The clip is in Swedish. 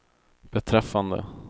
beträffande